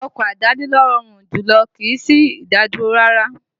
Ọkọ̀ àdáni ló rọrùn jùlọ, kìí sí ìdádúró rárá